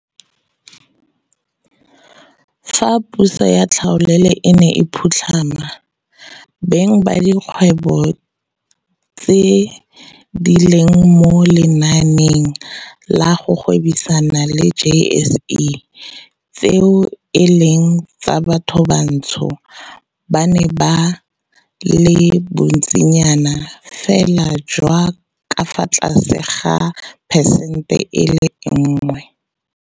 Fa puso ya tlhaolele e ne e phutlhama, beng ba dikgwebo tse di leng mo lenaaneng la go gwebisana la JSE tseo e leng tsa bathobantsho ba ne ba le bontsinyanafela jwa ka fa tlase ga phesente e le nngwe.